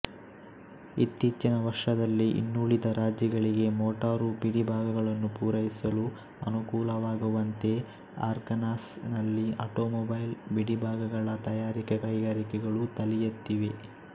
ಇತ್ತೀಚಿನ ವರ್ಷದಲ್ಲಿ ಇನ್ನುಳಿದ ರಾಜ್ಯಗಳಿಗೆ ಮೊಟಾರು ಬಿಡಿಭಾಗಗಳನ್ನು ಪೂರೈಸಲು ಅನುಕೂಲವಾಗುವಂತೆ ಅರ್ಕಾನ್ಸಾಸ್ ನಲ್ಲಿ ಅಟೊಮೊಬೈಲ್ ಬಿಡಿಭಾಗಗಳ ತಯಾರಿಕಾ ಕೈಗಾರಿಕೆಗಳು ತಲೆಯೆತ್ತಿವೆ